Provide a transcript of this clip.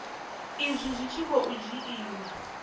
izwi zwi tshi khou dzhiiwa